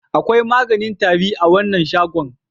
Akwai maganin tari a wancan shagon.